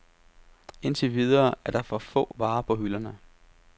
Indtil videre er der for få varer på hylderne.